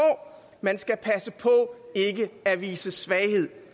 man skal passe på ikke at vise svaghed